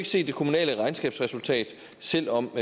set det kommunale regnskabsresultat selv om